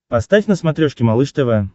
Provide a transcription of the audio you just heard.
поставь на смотрешке малыш тв